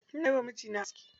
Ina yiwa mijina aski.